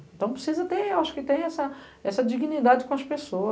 Então precisa ter, acho que ter essa dignidade com as pessoas.